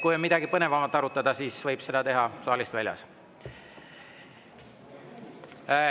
Kui on midagi põnevamat arutada, siis võib seda teha saalist väljas.